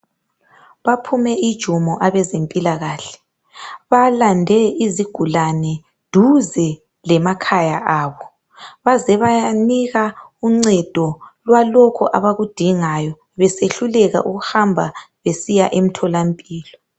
Baphume ijumo abezempilakahle. Balande izigulani duze lemakhaya abo baze bayanika uncedo abaludingayo besehluleka ukuhamba besiya emtholampilo.